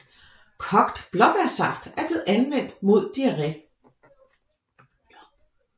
Kogt blåbærsaft er blevet anvendt mod diarré